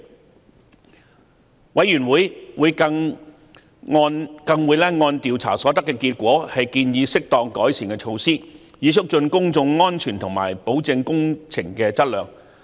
調查委員會更會按調查所得結果建議適當的改善措施，以促進公眾安全和保證工程的質量。